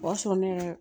O y'a sɔrɔ ne yɛrɛ